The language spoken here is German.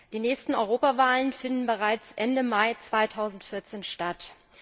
Die nächsten Europawahlen finden bereits Ende Mai 2014 statt.